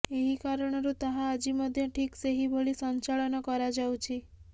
ଏହି କାରଣରୁ ତାହା ଆଜି ମଧ୍ୟ ଠିକ ସେହିଭଳି ସଂଚାଳନ କରାଯାଉଛି